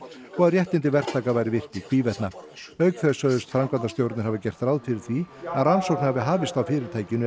að réttindi verktaka væru virt í hvívetna auk þess sögðust framkvæmdastjórarnir hafa gert ráð fyrir því að rannsókn hafi hafist á fyrirtækinu